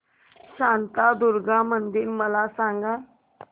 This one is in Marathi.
शांतादुर्गा मंदिर मला सांग